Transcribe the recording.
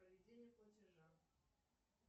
проведение платежа